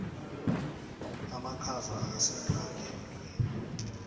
amakhaza akasimnandi emtwini